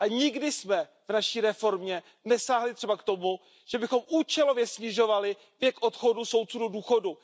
A nikdy jsme v naší reformě nesáhli třeba k tomu, abychom účelově snižovali věk odchodu soudců do důchodu.